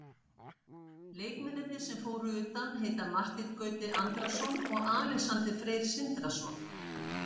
Leikmennirnir sem fóru utan heita Marteinn Gauti Andrason og Alexander Freyr Sindrason.